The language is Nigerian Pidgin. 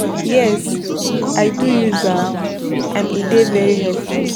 Yes, i don use am, and e dey very helpful.